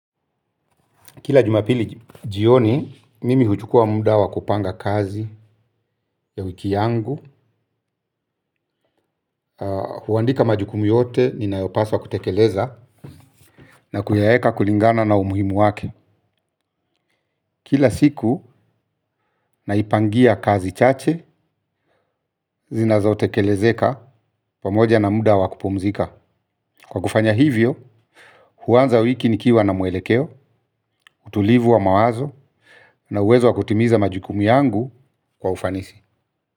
Kila jumapili jioni mimi huchukua muda wa kupanga kazi ya wiki yangu. Huandika majukumu yote ninayopaswa kutekeleza na kuyaeka kulingana na umuhimu wake. Kila siku naipangia kazi chache zinazo tekelezeka pamoja na muda wa kupumzika. Kwa kufanya hivyo huanza wiki nikiwa na mwelekeo utulivu wa mawazo na uwezo wa kutimiza majukumu yangu kwa ufanisi.